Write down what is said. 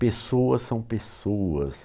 Pessoas são pessoas.